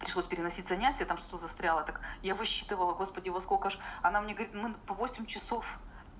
пришлось переносить занятия там что-то застряла так я высчитывала господи во сколько ж она мне говорит мы по восемь часов